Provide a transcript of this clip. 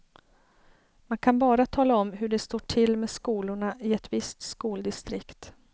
Man kan bara tala om hur det står till med skolorna i ett visst skoldistrikt.